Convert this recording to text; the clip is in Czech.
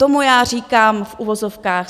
Tomu já říkám v uvozovkách